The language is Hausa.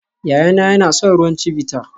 Yayana yana son ruwan Chivita